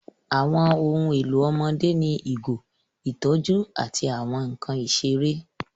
Àwọn ohun èlò ọmọdé ní ìgò, ìtọ́jú, àti àwọn nkan ìṣeré.